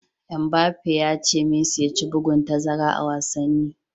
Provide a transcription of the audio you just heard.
Mbappe ya ce Messi ya ci bugun tazara a wasanni.